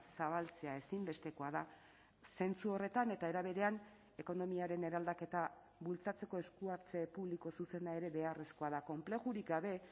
zabaltzea ezinbestekoa da zentzu horretan eta era berean ekonomiaren eraldaketa bultzatzeko esku hartze publiko zuzena ere beharrezkoa da konplexurik gabe